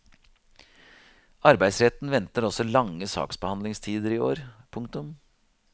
Arbeidsretten venter også lange saksbehandlingstider i år. punktum